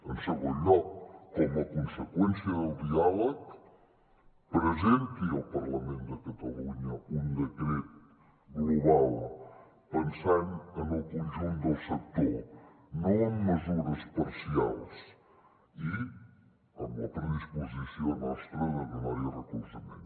en segon lloc com a conseqüència del diàleg presenti al parlament de catalunya un decret global pensant en el conjunt del sector no amb mesures parcials i amb la predisposició nostra de donar hi recolzament